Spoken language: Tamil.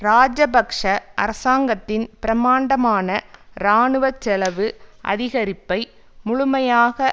இராஜபக்ஷ அரசாங்கத்தின் பிரமாண்டமான இராணுவ செலவு அதிகரிப்பை முழுமையாக